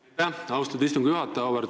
Aitäh, austatud istungi juhataja!